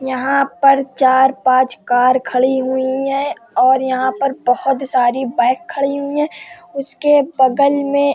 यहाँ पर चार-पांच कार खड़ी हुई हैं और यहाँ पर बहोत सारी बाइक खड़ी हुई हैं। उसके बगल में --